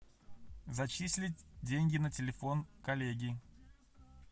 зачислить деньги на телефон коллеги